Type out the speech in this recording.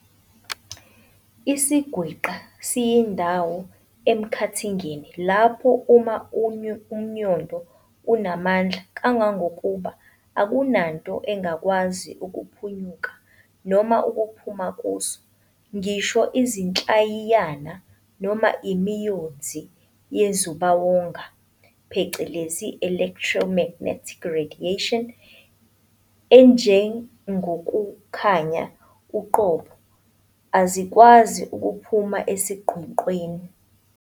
isiGwinqa siyindawo emkhathingeni lapho umNyondo unamandla kangangokuba akunanto engakwazi ukuphunyuka noma ukuphuma kuso, ngisho Izinhlayiyana noma iMiyonzi yeNzubawonga phecelezi "electromagnetic radiation" enjengokukhanya uqobo azikwazi ukuphuma esiGwinqeni.